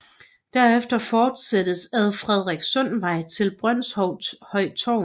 Derefter fortsættes ad Frederikssundsvej til Brønshøj Torv